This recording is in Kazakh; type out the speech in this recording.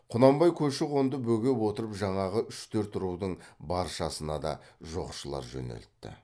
құнанбай көші қонды бөгеп отырып жаңағы үш төрт рудың баршасына да жоқшылар жөнелтті